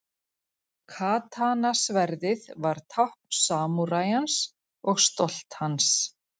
Katana-sverðið var tákn samúræjans og stolt hans.